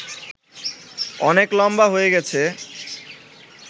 অনেক লম্বা হয়ে গেছে